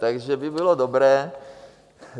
Takže by bylo dobré...